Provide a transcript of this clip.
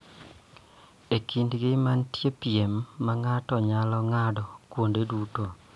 E kindegi ma nitie piem ma ng�ato nyalo ng�ado kuonde duto